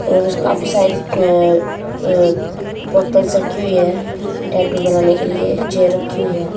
और काफी सारी अं अं रखी हुई है टैटू बनाने के लिए चेयर्स रखी हुई है।